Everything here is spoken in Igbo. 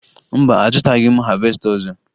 Mba, azụtaghị m havesta ọzọ